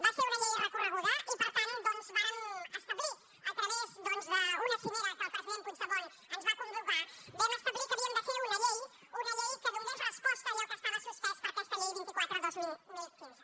va ser una llei recorreguda i per tant vàrem establir a través doncs d’una cimera a què el president puigdemont ens va convocar vam establir que havíem de fer una llei una llei que donés resposta a allò que estava suspès per aquesta llei vint quatre dos mil quinze